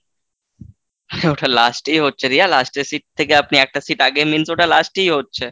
ওটা last এই হচ্ছে, রিয়া last এর seat থেকে আপনি একটা seat আগে means ওটা last এই হচ্ছে।